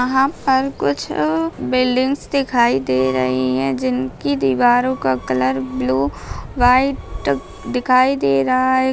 यहाँ पर कुछ बिल्डिंगस दिखाई दे रही हैं जिनकी दीवारों का कलर ब्लू वाइट दिखाई दे रहा है।